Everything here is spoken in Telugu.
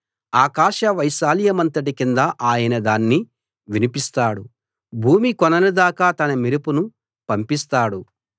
ఆకాశ వైశాల్యమంతటి కింద ఆయన దాన్ని వినిపిస్తాడు భూమి కొనల దాకా తన మెరుపును పంపిస్తాడు